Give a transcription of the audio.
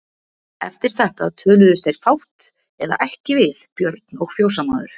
Eftir þetta töluðust þeir fátt eða ekki við Björn og fjósamaður.